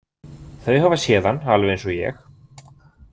Þau hafa séð hann alveg eins og ég.